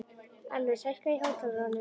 Elvis, hækkaðu í hátalaranum.